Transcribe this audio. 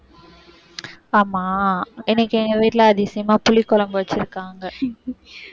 ஆமா, இன்னைக்கு எங்க வீட்டுல அதிசயமா புளிக்குழம்பு வச்சிருக்காங்க